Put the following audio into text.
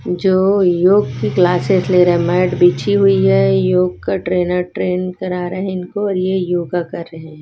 जो योग की क्लासेस ले रहा हैं मैट बिछी हुई है योग का ट्रेनर ट्रेन करा रहा है इनको और ये योगा कर रहे हैं।